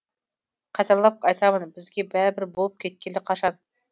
қайталап айтамын бізге бәрібір болып кеткелі қашан